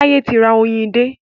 Táyé ti ra oyin dé.